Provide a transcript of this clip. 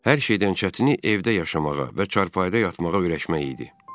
Hər şeydən çətini evdə yaşamağa və çarpayıda yatmağa öyrəşmək idi.